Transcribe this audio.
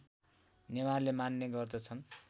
नेवारले मान्ने गर्दछन्